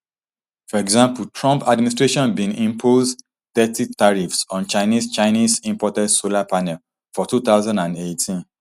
for example trump administration bin impose thirty tariffs on chinese chinese imported solar panels for two thousand and eighteen